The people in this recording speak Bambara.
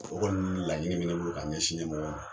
O kɔni laɲini de be n bolo k'a ɲɛsin ɲɛmɔgɔw ma.